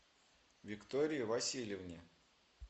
виктории васильевне